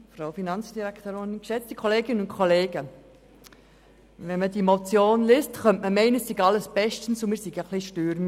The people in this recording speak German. Liest man diese Motion, könnte man glauben, alles stehe zum Besten, und wir seien Querulanten.